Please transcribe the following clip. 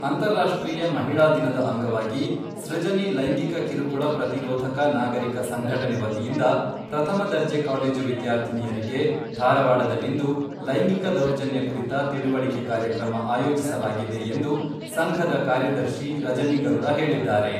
ಅಂತರಾಷ್ಟ್ರೀಯ ಮಹಿಳಾ ದಿನದ ಅಂಗವಾಗಿ, ಸೃಜನಿ ಲೈಂಗಿಕ ಕಿರುಕುಳ ಪ್ರತಿರೋಧಕ ನಾಗರಿಕ ಸಂಘಟನೆ ವತಿಯಿಂದ ಪ್ರಥಮ ದರ್ಜೆ ಕಾಲೇಜು ವಿದ್ಯಾರ್ಥಿನಿಯರಿಗೆ, ಧಾರವಾಡದಲ್ಲಿಂದು ಲೈಂಗಿಕ ದೌರ್ಜನ್ಯ ಕುರಿತ ತಿಳಿವಳಿಕೆ ಕಾರ್ಯಕ್ರಮ ಆಯೋಜಿಸಲಾಗಿದೆ ಎಂದು, ಸಂಘದ ಕಾರ್ಯದರ್ಶಿ ರಜನಿ ಗರುಡ ಹೇಳಿದ್ದಾರೆ.